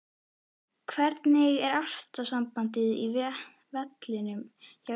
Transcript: Hvernig er ástandið á vellinum hjá ykkur?